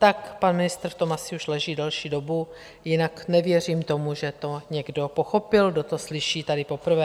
Tak pan ministr v tom asi už leží delší dobu, jinak nevěřím tomu, že to někdo pochopil, kdo to slyší tady poprvé.